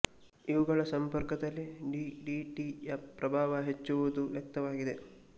ಇವುಗಳ ಸಂಪರ್ಕದಲ್ಲಿ D D T ಯ ಪ್ರಭಾವ ಹೆಚ್ಚುವುದು ವ್ಯಕ್ತವಾಗಿದೆ